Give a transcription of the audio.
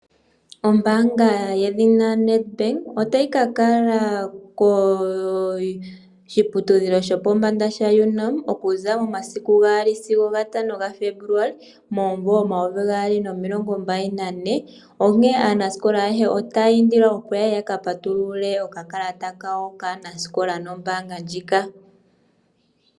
Ombaanga yedhina Nedbank otayi kakala koshiputudhilo shopombanda sha Unam okuza momasiku gaali sigo gatano ga Febuluali omumvo omayovi gaali nomilongo mbali nane. Onkene aanasikola ayehe otaya indilwa opo yaye yaka patulule okakalata kawo kaanasikola nombaanga ndjika.